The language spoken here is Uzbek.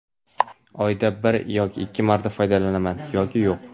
Oyda bir yoki ikki marta foydalanaman yoki yo‘q.